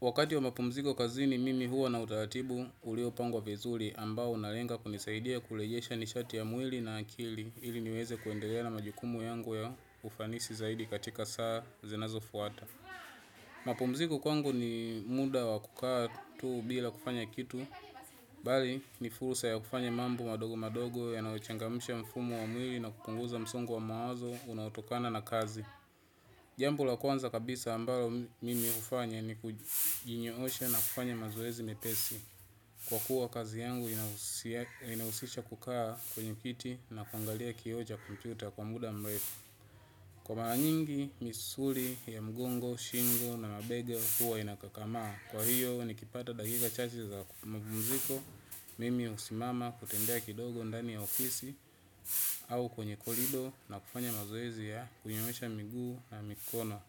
Wakati wa mapumziko kazini mimi huwa na utaratibu ulio pangwa vizuli ambao unalenga kunisaidia kurejesha nishati ya mwili na akili ili niweze kuendelea na majukumu yangu ya ufanisi zaidi katika saa zinazo fuata. Mapumziko kwangu ni muda wa kukaa tuu bila kufanya kitu, bali ni fursa ya kufanya mambo madogo madogo yanauchangamsha mfumo wa mwili na kupunguza msongo wa mawazo unautokana na kazi. Jambo la kwanza kabisa ambalo mimi hufanya ni kujinyoosha na kufanya mazoezi mepesi. Kwakuwa kazi yangu inahusisha kukaa kwenye kiti na kuangalia kioo cha kompyuta muda mrefu. Kwa mara nyingi, misuli ya mgongo, shingo na mabega huwa inakakamaa. Kwa hiyo, nikipata dakika chache za mapumziko, mimi husimama kutembea kidogo ndani ya ofisi au kwenye kolido na kufanya mazoezi ya kujinyoosha miguu na mikono.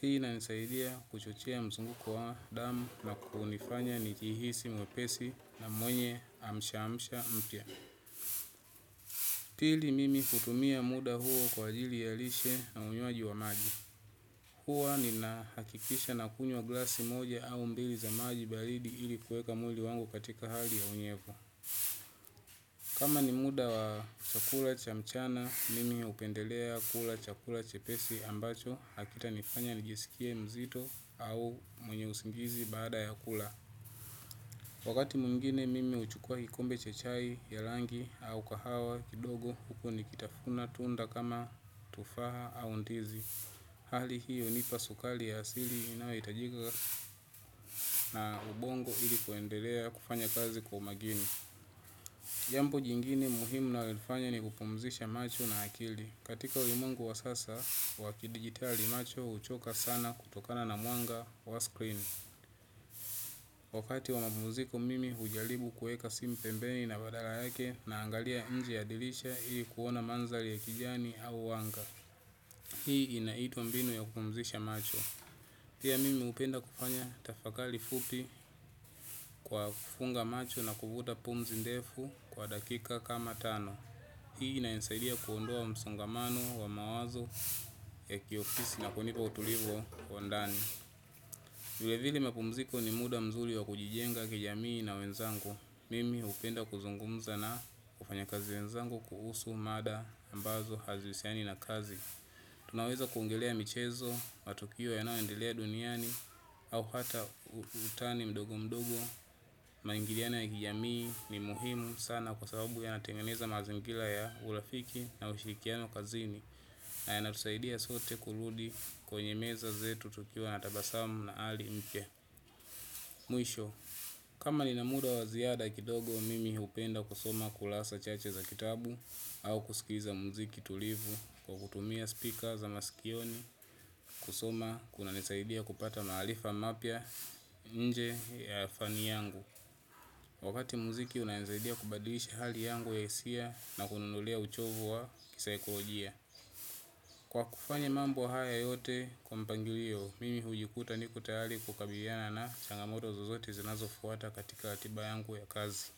Hii inanisaidia kuchochea mzunguko wa damu na kunifanya nijihisi mwepesi na mwenye amsha amsha mpya. Pili mimi kutumia muda huo kwa ajli ya lishe na unywaji wa maji. Huwa ninahakikisha na kunywa glasi moja au mbili za maji baridi ili kuweka mwili wangu katika hali ya unyevu. Kama ni muda wa chakula cha mchana mimi hupendelea kula chakula chepesi ambacho hakitanifanya nijisikie mzito au mwenye usingizi baada ya kula. Wakati mungine mimi huchukua kikombe cha chai ya rangi au kahawa kidogo huko ni kitafuna tunda kama tufaa au ndizi. Hali hii hunipa sukari ya asili inayohitajika na ubongo ili kuendelea kufanya kazi kwa umakini. Jambo jingine muhimu nalolifanya ni kupumzisha macho na akili. Katika ulimwengu wa sasa wa kidigitali macho huchoka sana kutokana na mwanga wa screen. Wakati wa mapumziko mimi hujaribu kuweka simu pembeni na badala yake naangalia nje ya dirisha hii kuona mandhari ya kijani au mwanga. Hii inaitwa mbinu ya kupumzisha macho. Pia mimi hupenda kufanya tafakari fupi kwa kufunga macho na kuvuta pumzi ndefu kwa dakika kama tano. Hii na inanisaidia kuondoa msongamano wa mawazo ya kiofisi na kunipa utulivu wa ndani vile vile mapumziko ni muda mzuri wa kujijenga kijamii na wenzango. Mimi hupenda kuzungumza na wafanyakazi wenzangu kuhusu mada ambazo hazihusiani na kazi. Tunaweza kuongelea michezo, matukio yanayoendelea duniani au hata utani mdogo mdogo. Maingiliano ya kijamii ni muhimu sana kwa sababu yanatengeneza mazingira ya urafiki na ushirikiano kazini. Na yanatusaidia sote kurudi kwenye meza zetu tukiwa na tabasamu na ari mpya. Mwisho, kama lina muda wa ziada kidogo mimi hupenda kusoma kurasa chache za kitabu au kusikiza muziki tulivu kwa kutumia speaker za masikioni. Kusoma kunanisaidia kupata maarifa mapya nje ya fani yangu. Wakati muziki unanisaidia kubadilisha hali yangu ya hisia na kuniondolea uchovu wa kisaikolojia. Kwa kufanya mambo haya yote kwa mpangilio, mimi hujikuta niko tayari kukabiliana na changamoto zozote zinazofuata katika ratiba yangu ya kazi.